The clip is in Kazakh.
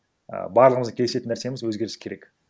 і барлығымыздың келісетін нәрсеміз өзгеріс керек